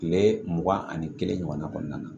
Tile mugan ani kelen ɲɔgɔn kɔnɔna na